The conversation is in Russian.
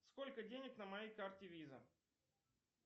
сколько денег на моей карте виза